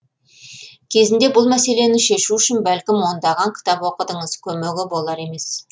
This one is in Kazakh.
кезінде бұл мәселені шешу үшін бәлкім ондаған кітап оқыдыңыз көмегі болар емес